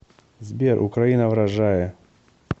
сбер украина вражае